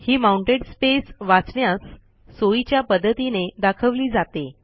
ही mounted space वाचण्यास सोयीच्या पद्धतीने दाखवली जाते